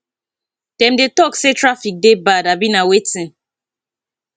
dem dey talk say traffic dey bad abi na wetin